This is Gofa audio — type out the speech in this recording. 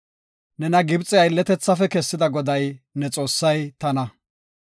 “Nena Gibxefe aylletethaafe kessida Goday ne Xoossay tana.